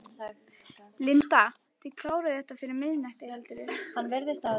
Linda: Þið klárið þetta fyrir miðnætti, heldurðu?